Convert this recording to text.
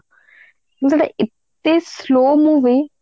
ମାନେ ସେଇଟା ଏତେ slow movie